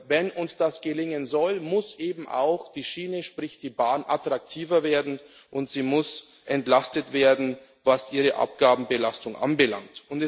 Wenn uns das gelingen soll, muss eben auch die Schiene, sprich die Bahn, attraktiver werden, und sie muss entlastet werden, was ihre Abgabenbelastung anbelangt.